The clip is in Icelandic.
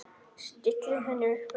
Stillir henni upp við vegg.